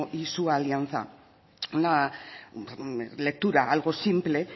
y su alianza una lectura algo simple